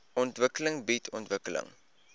ontwikkeling bied ontwikkeling